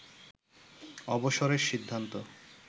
অবসরের সিদ্ধান্ত